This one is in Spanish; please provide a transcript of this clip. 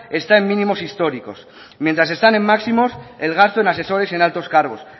está en mínimos históricos mientras están en máximos el gasto en asesores y en altos cargos